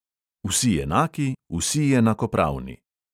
Vsi enaki, vsi enakopravni.